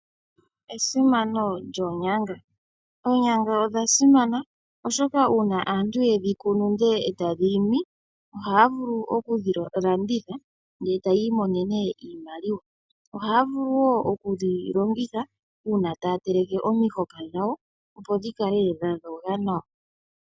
Esimano lyonyanga. Oonyanga odha simana oshoka uuna aantu yedhi kunu ndele etadhi imi ohaya vulu oku dhilanditha ndele taya imonenene iimaliwa . Ohaya vulu woo okudhi longitha uuna taya teleke omihoka dhawo opo dhikale dha dhoga nawa